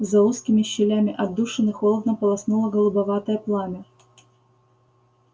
за узкими щелями отдушины холодно полоснуло голубоватое пламя